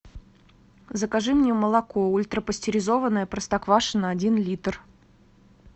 закажи мне молоко ультрапастеризованное простоквашино один литр